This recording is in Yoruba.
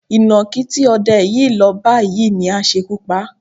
Ìnákí tí o̩de̩ yìí lọ bá yìí ni á s̩ekú pa á.